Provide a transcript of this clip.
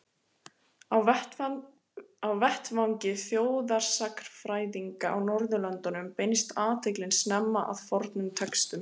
Á vettvangi þjóðsagnafræðinnar á Norðurlöndum beindist athyglin snemma að fornum textum.